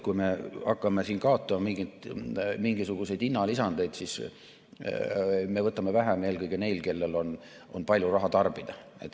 Kui me hakkame kaotama mingisuguseid hinnalisandeid, siis me võtame vähem eelkõige neilt, kellel on palju raha, et tarbida.